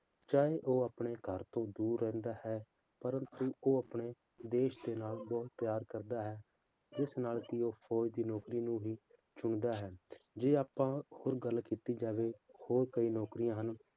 ਚਾਹੇ ਉਹ ਆਪਣੇ ਘਰ ਤੋਂ ਦੂਰ ਰਹਿੰਦਾ ਹੈ ਪਰ ਉਹ ਆਪਣੇ ਦੇਸ ਦੇ ਨਾਲ ਬਹੁਤ ਪਿਆਰ ਕਰਦਾ ਹੈ, ਇਸ ਨਾਲ ਕਿ ਉਹ ਫੌਜ਼ ਦੀ ਨੌਕਰੀ ਨੂੰ ਹੀ ਚੁਣਦਾ ਹੈ, ਜੇ ਆਪਾਂ ਹੁਣ ਗੱਲ ਕੀਤੀ ਜਾਵੇ ਹੋਰ ਕਈ ਨੌਕਰੀਆਂ ਹਨ,